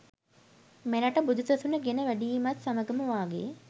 මෙරටට බුදු සසුන ගෙන වැඩීමත් සමඟම වාගේ